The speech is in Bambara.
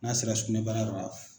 N'a se la sugunɛbara yɔrɔ la.